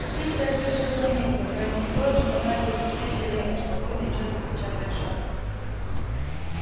теперь торопиться было некуда поэтому троица направилась вслед за левой спокойно и чётко печатая шаг